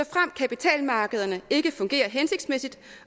kapitalmarkederne ikke fungerer hensigtsmæssigt